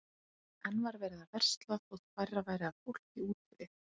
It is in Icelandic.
Enn var verið að versla þótt færra væri af fólki úti við.